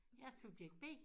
Jeg er subjekt B